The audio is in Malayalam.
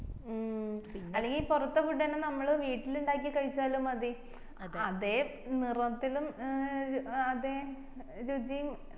ഉം അല്ലെങ്കില് പൊറത്തെ food അന്നെ നമ്മള് വീട്ടില് ഇണ്ടാക്കി കഴിച്ചാലും മതി അതെ നിറത്തിലും ഏർ അതെ രുചിയും ഏർ